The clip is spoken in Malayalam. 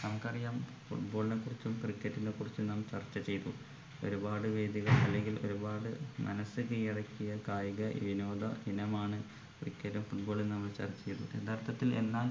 നമുക്കറിയാം football നെ കുറിച്ചും cricket നെ കുറിച്ചും നാം ചർച്ച ചെയ്തു ഒരുപാട് വേദികളിൽ അല്ലെങ്കിൽ ഒരുപാട് മനസ്സ് കീയടക്കിയ കായിക വിനോദ ഇനമാണ് cricket football എന്ന് നമ്മൾ ചർച്ച ചെയ്തതു യഥാർത്ഥത്തിൽ എന്നാണ്